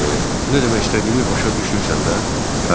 Nə demək istədiyimi başa düşürsən də?